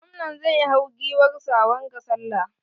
Gwamnan zai hau giwar sa wanga sallah.